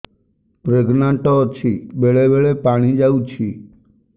pregnant ଅଛି ବେଳେ ବେଳେ ପାଣି ଯାଉଛି